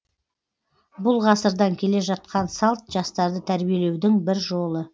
бұл ғасырдан келе жатқан салт жастарды тәрбиелеудің бір жолы